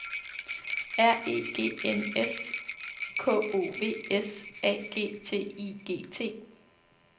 R E G N S K O V S A G T I G T